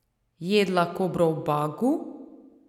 Jedla kobro v Bagu?